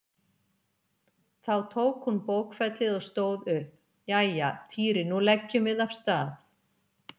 Þá tók hún bókfellið og stóð upp: Jæja, Týri nú leggjum við af stað